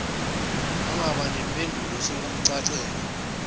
wangaba nampendulo sekumcacela